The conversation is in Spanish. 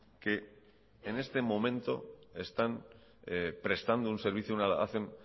que en este momento están prestando un servicio y hacen